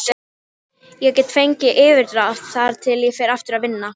Smitið getur borist með beinni snertingu, andrúmslofti eða hlutum.